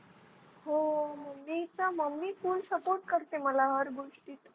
हो Mummy च MummyFull support करते मला हर गोष्टीत.